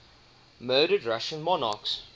murdered russian monarchs